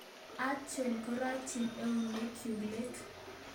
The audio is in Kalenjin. Atyo koratyi eunekchuk let